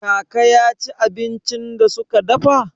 Kaka ya ci abincin da suka dafa?